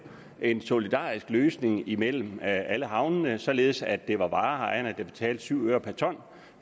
en solidarisk løsning mellem alle havnene således at det var vareejerne der betalte syv øre per ton